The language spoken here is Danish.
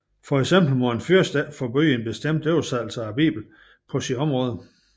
For eksempel må en fyrste ikke forbyde en bestemt oversættelse af Bibelen på sit område